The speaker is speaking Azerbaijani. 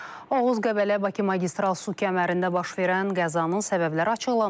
Oğuz-Qəbələ-Bakı magistral su kəmərində baş verən qəzanın səbəbləri açıqlanıb.